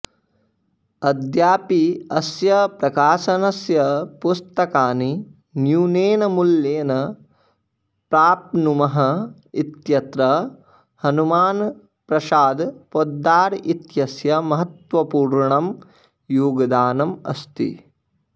अद्यापि अस्य प्रकाशनस्य पुस्तकानि न्यूनेन मूल्येन प्राप्नुमः इत्यत्र हनुमानप्रसाद पोद्दार इत्यस्य महत्वपूर्णं योगदानम् अस्ति